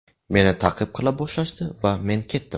Meni ta’qib qila boshlashdi va men ketdim.